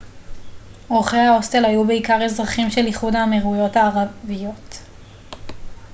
אורחי ההוסטל היו בעיקר אזרחים של איחוד האמירויות הערביות